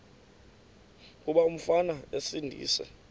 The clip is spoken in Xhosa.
kuba umfana esindise